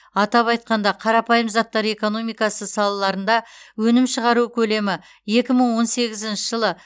атап айтқанда қарапайым заттар экономикасы салаларында өнім шығару көлемі екі мың он сегізінші жылы